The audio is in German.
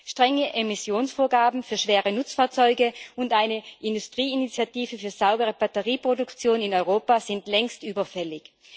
Strenge Emissionsvorgaben für schwere Nutzfahrzeuge und eine Industrieinitiative für eine saubere Batterieproduktion in Europa sind längst überfällig.